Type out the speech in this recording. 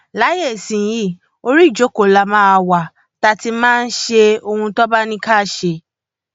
láyé ìsinyìí orí ìjókòó la máa wá tá a ti máa ṣe ohun tí wọn bá ní ká ṣe